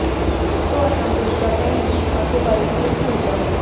ਸਭ ਤੋਂ ਆਸਾਨ ਤਰੀਕਾ ਇਹ ਹੈ ਕਿ ਖਾਤੇ ਬਾਰੇ ਸਿਰਫ ਭੁੱਲ ਜਾਓ